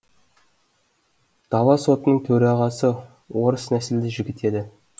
дала сотының төрағасы орыс нәсілді жігіт еді